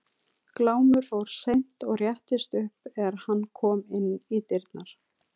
Glámur fór seint og réttist upp er hann kom inn í dyrnar.